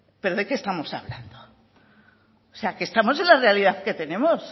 pero de qué estamos hablando o sea que estamos en la realidad que tenemos